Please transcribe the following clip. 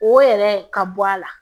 O yɛrɛ ka bɔ a la